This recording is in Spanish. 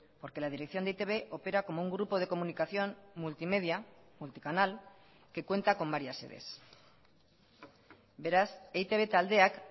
porque la dirección de e i te be opera como un grupo de comunicación multimedia multicanal que cuenta con varias sedes beraz eitb taldeak